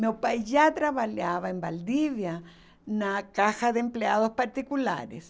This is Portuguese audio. Meu pai já trabalhava em Valdívia na caixa de empregados particulares.